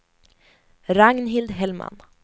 Ragnhild Hellman